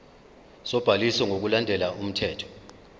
sobhaliso ngokulandela umthetho